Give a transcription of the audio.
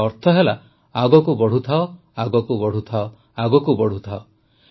ଏହାର ଅର୍ଥ ହେଲା ଆଗକୁ ବଢ଼ୁଥାଅ ଆଗକୁ ବଢ଼ୁଥାଅ